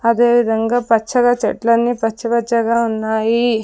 అదేవిధంగా పచ్చగా చెట్లన్ని పచ్చ పచ్చగా ఉన్నాయి.